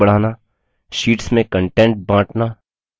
sheets में content बाँटना